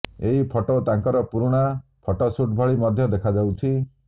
ଏହି ଫଟୋ ତାଙ୍କର ପୁରୁଣା ଫଟୋସୁଟ୍ ଭଳି ମଧ୍ୟ ଦେଖାଯାଉଛି